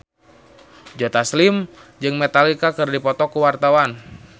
Joe Taslim jeung Metallica keur dipoto ku wartawan